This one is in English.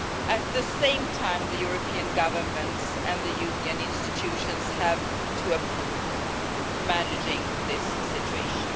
At the same time, the European governments and the Union institutions have to improve the management of this situation.